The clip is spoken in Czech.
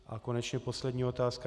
A konečně poslední otázka.